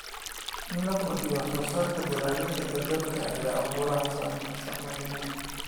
In la kordhiyo wax soo saarka dalagga ee dalalka ay abaaruhu saameeyeen.